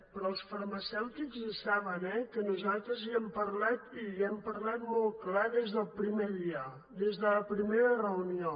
però els farmacèutics ho saben eh que nosaltres hi hem parlat i hi hem parlat molt clar des del primer dia des de la primera reunió